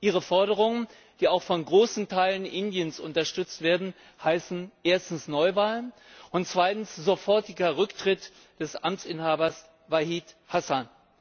Ihre Forderungen, die auch von großen Teilen Indiens unterstützt werden, heißen erstens Neuwahlen und zweitens sofortiger Rücktritt des Amtsinhabers Waheed Hassan.